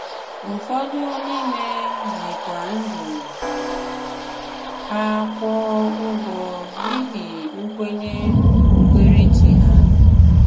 Ụfọdụ n’ime jí kwá ndụ ha kwụọ ụgwọ n’íhí nkwényé okpukpéréchí ha.